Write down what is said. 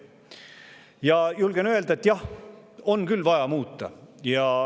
Ma julgen öelda, et jah, on küll vaja muuta.